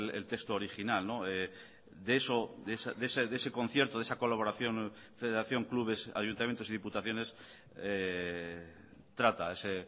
el texto original de eso de ese concierto de esa colaboración federación clubes ayuntamientos y diputaciones trata ese